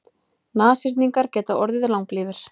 Nashyrningar geta orðið langlífir.